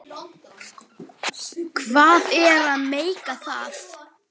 Hvað er að meika það?